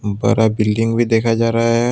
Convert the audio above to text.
बड़ा बिल्डिंग भी देखा जा रहा है।